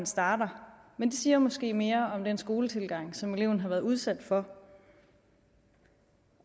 starter men det siger måske mere om den skoletilgang som eleven har været udsat for